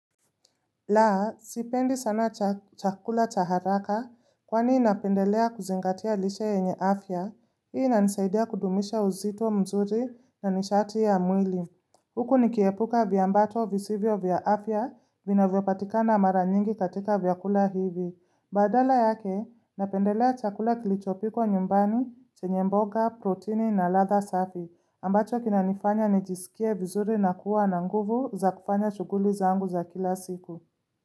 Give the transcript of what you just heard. La, sipendi sana chakula cha haraka kwani napendelea kuzingatia lishe yenye afya, hii inanisaidia kudumisha uzito mzuri na nishati ya mwili. Huku nikiepuka viambato visivyo vya afya vinavyopatikana mara nyingi katika vyakula hivi. Badala yake, napendelea chakula kilichopikwa nyumbani, chenye mboga, protini na ladha safi, ambacho kinanifanya nijisikie vizuri na kuwa na nguvu za kufanya shughuli zangu za kila siku.